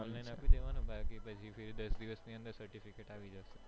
આપી દેવાનું બાકી પછી દસ દિવસ ની અંદર certificate આવી જશે